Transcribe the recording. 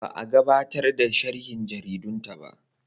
Ba a gabatar da sharhin jaridunta ba.